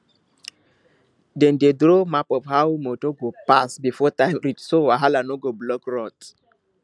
dem dey draw map of how motor go pass before time reach so wahala no go block road